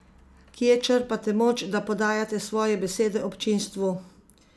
Kje črpate moč, da podajate svoje besede občinstvu?